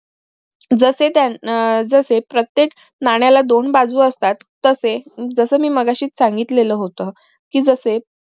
जसे त्यानं आह जसे प्रत्येक नाण्याला दोन बाजू असतात तसे जस मी मगाशीच सांगितलेलं होत कि जसे